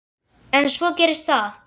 En svo gerist það.